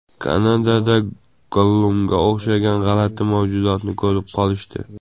Kanadada Gollumga o‘xshagan g‘alati mavjudotni ko‘rib qolishdi .